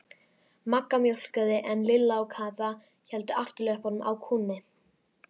Magga mjólkaði en Lilla og Kata héldu afturlöppunum á kúnni.